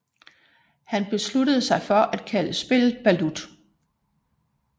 Han besluttede sig for at kalde spillet balut